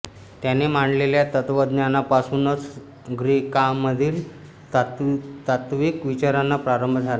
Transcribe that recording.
त्याने मांडलेल्या तत्त्वज्ञानापासूनच ग्रीकांमधील तात्त्विक विचारांचा प्रारंभ झाला